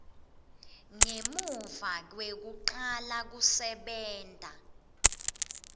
ngemuva kwekucala kwekusebenta